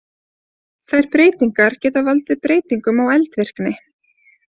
Þær breytingar geta valdið breytingum á eldvirkni.